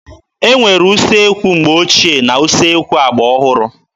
E nwere usekwu mgbe ochie na usekwu agba ọhụrụ.